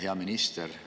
Hea minister!